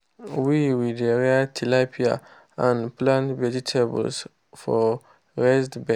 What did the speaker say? we we dey rear tilapia and plant vegetable for raised bed.